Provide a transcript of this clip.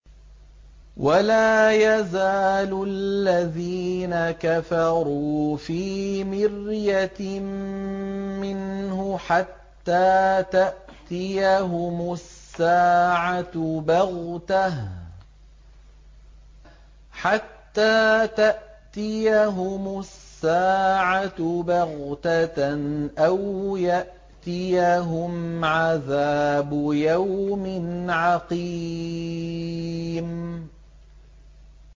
وَلَا يَزَالُ الَّذِينَ كَفَرُوا فِي مِرْيَةٍ مِّنْهُ حَتَّىٰ تَأْتِيَهُمُ السَّاعَةُ بَغْتَةً أَوْ يَأْتِيَهُمْ عَذَابُ يَوْمٍ عَقِيمٍ